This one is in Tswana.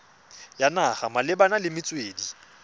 ya naga malebana le metswedi